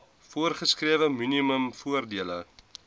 voorgeskrewe minimum voordele